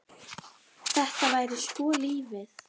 Þetta væri sko lífið.